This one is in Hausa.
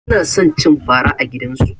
Suna son cin fara a gidansu.